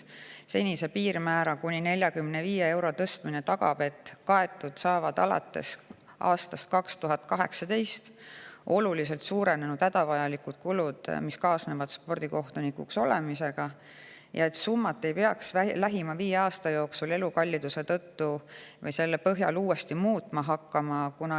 Senise piirmäära kuni 45 eurole tõstmine tagab, et kaetud saavad alates aastast 2018 oluliselt suurenenud hädavajalikud kulud, mis kaasnevad spordikohtunikuks olemisega, ja et summat ei peaks lähima viie aasta jooksul elukalliduse tõusu tõttu uuesti muutma hakkama.